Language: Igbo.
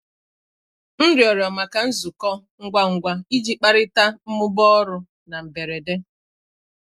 M rịọrọ maka nzukọ ngwa ngwa iji kparịta mmụba ọrụ na mberede.